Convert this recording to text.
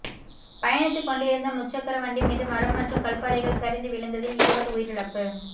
பயணித்துக் கொண்டிருந்த முச்சக்கரவண்டி மீது மரம் மற்றும் கற்பாறைகள் சரிந்து விழுந்தததில் இருவர் உயிரிழப்பு